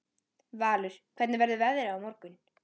Valur, hvernig verður veðrið á morgun?